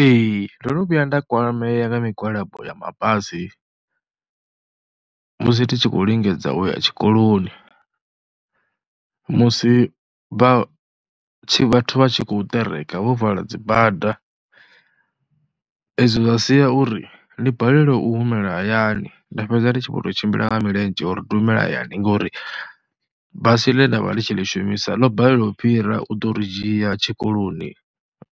Ee ndo no vhuya nda kwamea nga migwalabo ya mabasi musi ndi tshi khou lingedza u ya tshikoloni, musi vha tshi vhathu vha tshi khou ṱereka vho vala dzi bada. Ezwo zwa sia uri ndi balelwe u humela hayani nda fhedza ndi tshi khou tou tshimbila nga milenzhe uri ndu humele hayani ngori basi ḽe nda vha ḽi tshi ḽi shumisa ḽo balelwa u fhira u ḓo ri dzhia tshikoloni